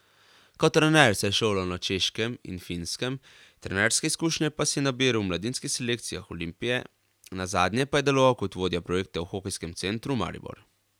Kot trener se je šolal na Češkem in Finskem, trenerske izkušnje pa si je nabiral v mladinskih selekcijah Olimpije, nazadnje pa je deloval kot vodja projekta v Hokejskem centru Maribor.